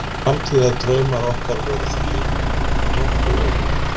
Framtíðardraumar okkar voru því nokkuð ólíkir.